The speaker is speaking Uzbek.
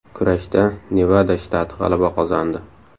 Kurashda Nevada shtati g‘alaba qozondi.